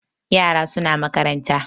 Yara suna makaranta